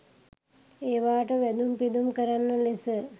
ඒවාට වැඳුම්පිදුම් කරන ලෙස